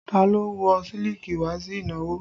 Ta ló wọ̀ sílíkì wá sí ìnáwó?